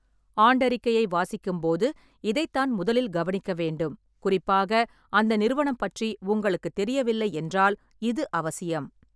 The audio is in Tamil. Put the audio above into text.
ஆண்டறிக்கையை வாசிக்கும் போது இதைத் தான் முதலில் கவனிக்க வேண்டும், குறிப்பாக அந்த நிறுவனம் பற்றி உங்களுக்குத் தெரியவில்லை என்றால் இது அவசியம்.